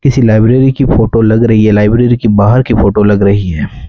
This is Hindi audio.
इसी लाइब्रेरी की फोटो लग रही है लाइब्रेरी की बाहर की फोटो लग रही है।